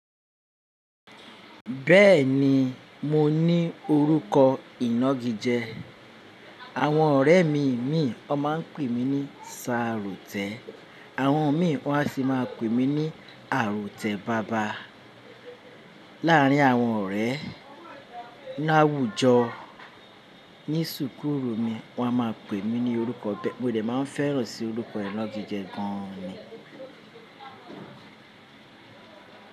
Bẹ́ẹ̀ni mo ní orúkọ ìnagijẹ, àwọn ọ̀rẹ́ mi imìí won máa ń pè mí ní Sarotẹ, àwọn mìí won a sì máa pè mí ní Àrọ̀tẹ̀ baba. Láàrín àwọn ọ̀rẹ́ láwùjọ ní súkúrù mi wọ́n máa ń pè mí ní orúkọ be mo dè máa ń fẹ́ràn sì orúkọ ìnagijẹ gan ni.